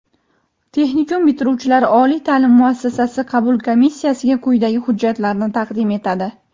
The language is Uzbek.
Texnikum bitiruvchilari oliy ta’lim muassasasi qabul komissiyassiga quyidagi hujjatlarni taqdim etadi:.